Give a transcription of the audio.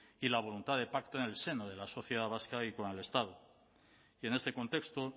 y la voluntad de pacto en el seno de la sociedad vasca y con el estado y en este contexto